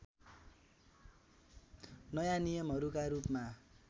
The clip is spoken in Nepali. नयाँ नियमहरूका रूपमा